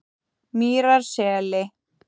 Mýrarseli